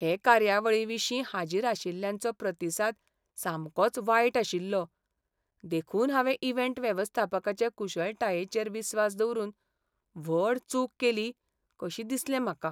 हे कार्यावळीविशीं हाजीरआशिल्ल्यांचो प्रतिसाद सामकोच वायटआशिल्लो. देखून हांवें इव्हेंट वेवस्थापकाचे कुशळटायेचेर विस्वास दवरून व्हड चूक केली कशी दिसलें म्हाका .